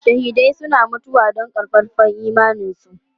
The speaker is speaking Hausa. Shahidai suna mutuwa don ƙaƙƙarfan imaninsu.